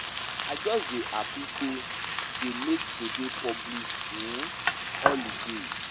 I just dey happy say dey make today public um holiday.